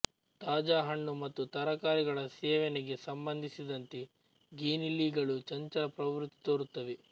ತಾಜಾ ಹಣ್ಣು ಮತ್ತು ತರಕಾರಿಗಳ ಸೇವೆನೆಗೆ ಸಂಬಂಧಿಸಿದಂತೆ ಗಿನಿಯಿಲಿಗಳು ಚಂಚಲ ಪ್ರವೃತ್ತಿ ತೋರುತ್ತವೆ